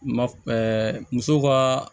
Ma ɛɛ musow ka